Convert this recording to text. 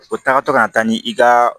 O tagatɔ ka na taa ni i ka